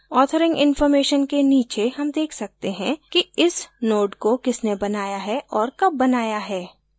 authoring information के नीचे हम देख सकते हैं कि इस node को किसने बनाया है और कब बनाया है